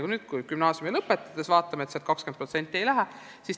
Pärast gümnaasiumi lõpetamist aga 20% edasi ei lähe.